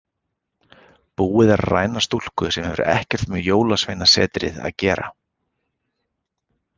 Búið að ræna stúlku sem hefur ekkert með Jólasveinasetrið að gera.